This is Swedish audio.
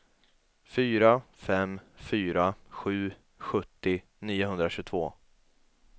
fyra fem fyra sju sjuttio niohundratjugotvå